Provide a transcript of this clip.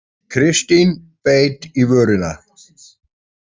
Kristín beit í vörina.